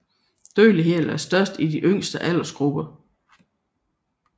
Dødeligheden er størst i de yngste aldersgrupper